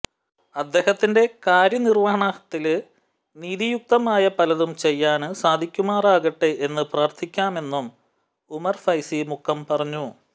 അദ്ദേഹത്തിന്റെ കാര്യനിര്വഹണത്തില് നീതിയുക്തമായ പലതും ചെയ്യാന് സാധിക്കുമാറാകട്ടെ എന്ന് പ്രാര്ത്ഥിക്കാമെന്നും ഉമര് ഫൈസി മുക്കം പറഞ്ഞു